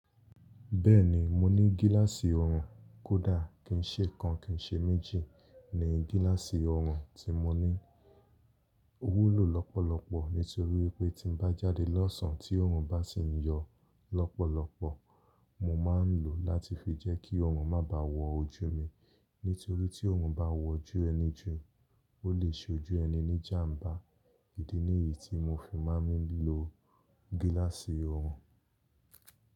Bẹ́ẹ̀ni, mo ní gíláàsì ọrùn. Kódà kì í ṣe kan kì í ṣe méjì ni gíláàsì ọrùn tí mo ní. Ó wúlò lọ́pọ̀lọpọ̀ nítorí pé tí mo bá jáde lọ́sàn án tí ọrùn bá sì ń yọ lọ́pọ̀lọpọ̀, mo máa ń lò ó láti fi jẹ́ kí ọrùn má ba à wọ ojú mi. Nítorí tí ọrùn bá wọ ojú ẹni jù ó lè ṣe ojú ẹni ní jàmbá. Ìdí nìyí tí mo fi máa ń lo gíláàsì ọrùn.